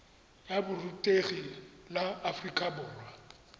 ya borutegi la aforika borwa